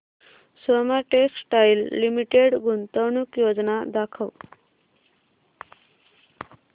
Soma textile limited गुंतवणूक योजना दाखव